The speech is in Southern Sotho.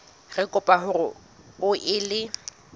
re kopa hore o ele